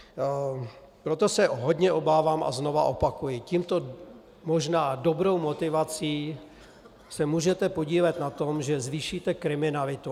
Proto se hodně obávám a znovu opakuji, touto možná dobrou motivací se můžete podílet na tom, že zvýšíte kriminalitu.